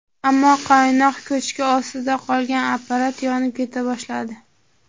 Ammo qaynoq ko‘chki ostida qolgan apparat yonib keta boshladi.